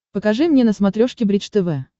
покажи мне на смотрешке бридж тв